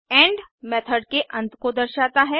and method के अंत को दर्शाता है